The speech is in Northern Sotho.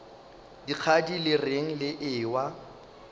dikgadi le reng le ewa